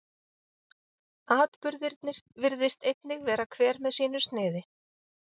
Atburðirnir virðist einnig vera hver með sínu sniði.